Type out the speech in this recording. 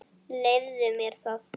Leyfðu mér það